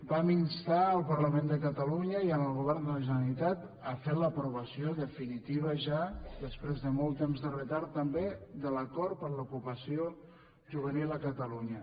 vam instar el parlament de catalunya i el govern de la generalitat a fer l’aprovació definitiva ja després de molt temps de retard també de l’acord per a l’ocupació juvenil a catalunya